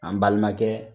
An balimakɛ